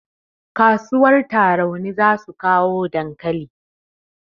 Kasuwar tarauni zasu kawo dankali